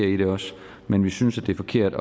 i det også men vi synes det er forkert